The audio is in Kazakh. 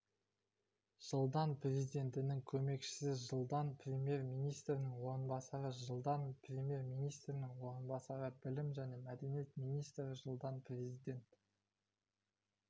жылдан президентінің көмекшісі жылдан премьер-министрінің орынбасары жылдан премьер-министрінің орынбасары білім және мәдениет министрі жылдан президент